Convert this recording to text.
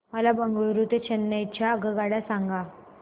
मला बंगळुरू ते चेन्नई च्या आगगाड्या सांगा